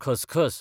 खसखस